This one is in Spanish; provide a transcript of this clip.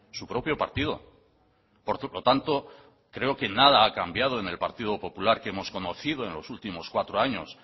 su propio partido por lo tanto creo que nada ha cambiado en el partido popular que hemos conocido en los últimos cuatro años